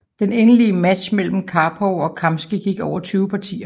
Den endelige match mellem Karpov og Kamsky gik over 20 partier